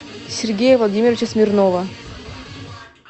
сергея владимировича смирнова